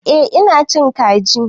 Eh ina cin kaji.